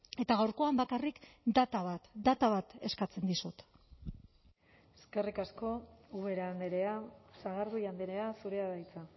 eta gaurkoan bakarrik data bat data bat eskatzen dizut eskerrik asko ubera andrea sagardui andrea zurea da hitza